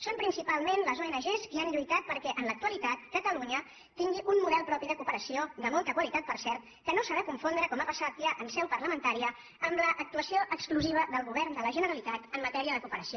són principalment les ong qui han lluitat perquè en l’actualitat catalunya tingui un model propi de cooperació de molta qualitat per cert que no s’ha de confondre com ha passat ja en seu parlamentària amb l’actuació exclusiva del govern de la generalitat en matèria de coo peració